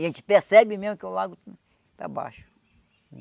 E a gente percebe mesmo que o lago está baixo.